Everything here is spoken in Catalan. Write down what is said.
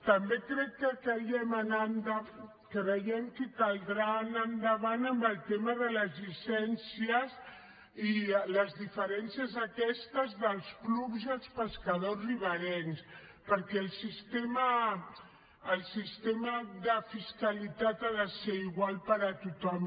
també creiem que caldrà anar endavant amb el tema de les llicències i les diferències aquestes dels clubs i els pescadors riberencs perquè el sistema el sistema de fiscalitat ha de ser igual per a tothom